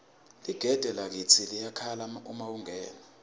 ligede lakitsi liyakhala uma ungena